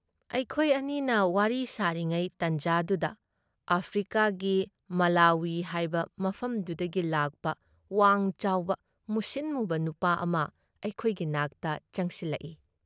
ꯑꯩꯈꯣꯏ ꯑꯅꯤꯅ ꯋꯥꯔꯤ ꯁꯥꯔꯤꯉꯩ ꯇꯥꯟꯖꯥꯗꯨꯗ ꯑꯥꯐ꯭ꯔꯤꯀꯥꯒꯤ ꯃꯥꯂꯥꯋꯤ ꯍꯥꯏꯕ ꯃꯐꯝꯗꯨꯗꯒꯤ ꯂꯥꯛꯄ ꯋꯥꯡ ꯆꯥꯎꯕ, ꯃꯨꯁꯤꯟ ꯃꯨꯕ ꯅꯨꯄꯥ ꯑꯃ ꯑꯩꯈꯣꯏꯒꯤ ꯅꯥꯛꯇ ꯆꯪꯁꯤꯜꯂꯛꯏ ꯫